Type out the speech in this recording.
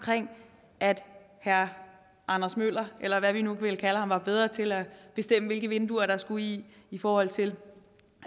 at herre anders møller eller hvad vi nu vil kalde ham var bedre til at bestemme hvilke vinduer der skulle i i forhold til